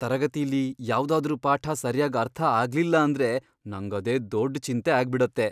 ತರಗತಿಲಿ ಯಾವ್ದಾದ್ರೂ ಪಾಠ ಸರ್ಯಾಗ್ ಅರ್ಥ ಆಗ್ಲಿಲ್ಲ ಅಂದ್ರೆ ನಂಗದೇ ದೊಡ್ಡ್ ಚಿಂತೆ ಆಗ್ಬಿಡತ್ತೆ.